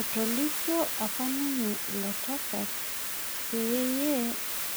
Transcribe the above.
Etolikio apa ninye ilo tasat peyie